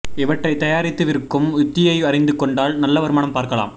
இவற்றை தயாரித்து விற்கும் யுத்தியை அறிந்து கொண்டால் நல்ல வருமானம் பார்க்கலாம்